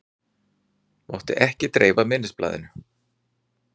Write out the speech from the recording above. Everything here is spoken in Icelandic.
Mátti ekki dreifa minnisblaðinu